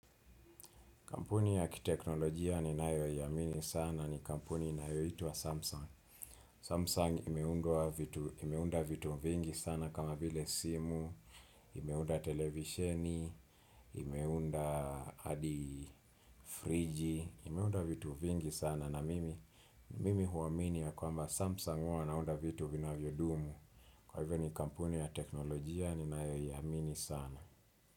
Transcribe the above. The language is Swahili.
Kampuni ya kiteknolojia ni nayo yamini sana ni kampuni inayotwa wa Samsung. Samsung imeunda vitu vingi sana kama vile simu, imeunda televisheni, imeunda hadi friji, imeunda vitu vingi sana na mimi mimi huwaminia ya kwamba Samsung wanaunda vitu vinavyodumu. Kwa hivyo ni kampuni ya teknolojia ni nayo iamini sana.